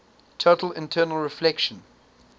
total internal reflection